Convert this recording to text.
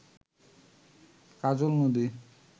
কাজল নদী